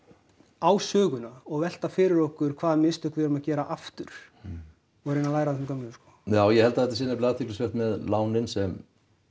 á söguna og velta fyrir okkur hvaða mistök við erum að gera aftur og reyna læra af þeim gömlu sko ég held að þetta sé nefnilega athyglisvert með lánin sem